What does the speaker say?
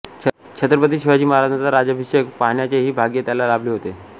छत्रपती शिवाजी महाराजांचा राज्याभिषेक पाहण्याचेही भाग्य त्याला लाभले होते